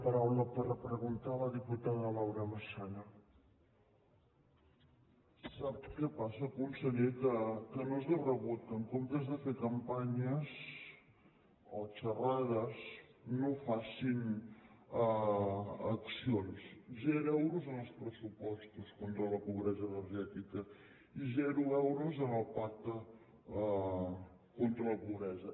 sap què passa conseller que no és de rebut que en comptes de fer campanyes o xerrades no facin accions zero euros en els pressupostos contra la pobresa energètica i zero euros en el pacte contra la pobresa